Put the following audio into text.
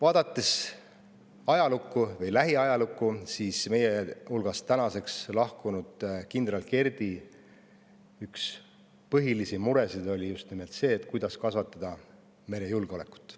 Lähiajaloost võib tuua näiteks selle, et meie hulgast lahkunud kindral Kerdi üks põhilisi muresid oli just nimelt see, kuidas kasvatada merejulgeolekut.